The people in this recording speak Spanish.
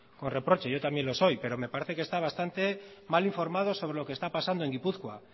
con reproche yo también lo soy pero me parece que está bastante mal informado sobre lo que está pasando en gipuzkoa